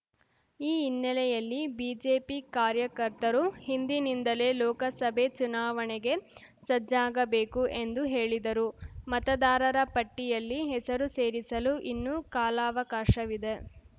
ಈ ಹಿನ್ನೆಲೆಯಲ್ಲಿ ಬಿಜೆಪಿ ಕಾರ್ಯಕರ್ತರು ಇಂದಿನಿಂದಲೇ ಲೋಕಸಭೆ ಚುನಾವಣೆಗೆ ಸಜ್ಜಾಗಬೇಕು ಎಂದು ಹೇಳಿದರು ಮತದಾರರ ಪಟ್ಟಿಯಲ್ಲಿ ಹೆಸರು ಸೇರಿಸಲು ಇನ್ನೂ ಕಾಲವಕಾಶವಿದೆ